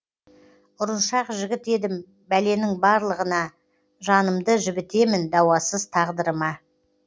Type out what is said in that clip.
ұрыншақ жігіт едім бәленің барлығына жанымды жібітемін дауасыз тағдырыма